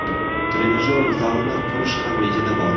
Trenajyor zalini qurish ham rejada bor.